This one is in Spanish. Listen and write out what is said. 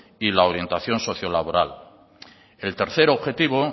y la orientación socio laboral el tercer objetivo